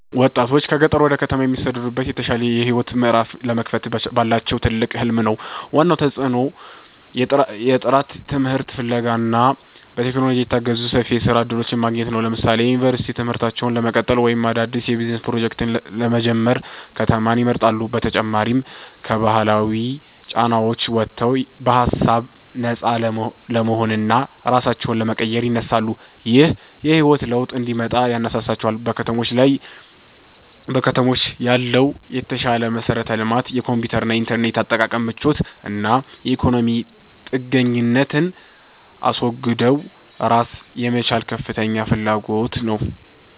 ወጣቶች ከገጠር ወደ ከተማ የሚሰደዱት የተሻለ የህይወት ምዕራፍ ለመክፈት ባላቸው ትልቅ ህልም ነው። ዋናው ተጽዕኖ የጥራት ትምህርት ፍለጋ እና በቴክኖሎጂ የታገዙ ሰፊ የስራ እድሎችን ማግኘት ነው። ለምሳሌ የዩኒቨርሲቲ ትምህርታቸውን ለመቀጠል ወይም አዳዲስ የቢዝነስ ፕሮጀክቶችን ለመጀመር ከተማን ይመርጣሉ። በተጨማሪም ከባህላዊ ጫናዎች ወጥተው በሃሳብ ነፃ ለመሆንና ራሳቸውን ለመቀየር ይነሳሳሉ። ይህ የህይወት ለውጥ እንዲመጣ ያነሳሳቸው በከተሞች ያለው የተሻለ መሠረተ ልማት፣ የኮምፒውተርና የኢንተርኔት አጠቃቀም ምቾት እና የኢኮኖሚ ጥገኝነትን አስወግዶ ራስን የመቻል ከፍተኛ ፍላጎት ነው